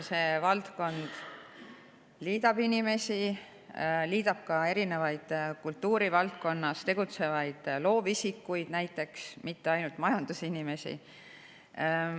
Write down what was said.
See valdkond liidab inimesi, liidab ka näiteks erinevaid kultuurivaldkonnas tegutsevaid loovisikuid, mitte ainult majandusinimesi.